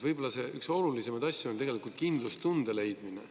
Võib‑olla on üks olulisemaid asju kindlustunde leidmine.